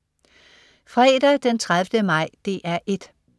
Fredag den 30. maj - DR 1: